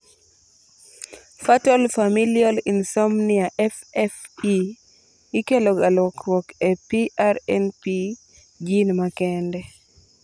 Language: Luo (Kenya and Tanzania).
Fatal familial insomnia (FFI) ikeloga lokruok e PRNP gene makende